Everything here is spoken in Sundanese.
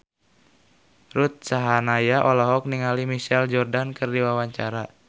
Ruth Sahanaya olohok ningali Michael Jordan keur diwawancara